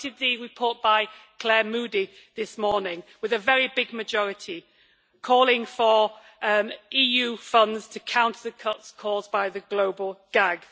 We voted for the report by Claire Moody this morning with a very big majority, calling for EU funds to counter the cuts caused by the global gag.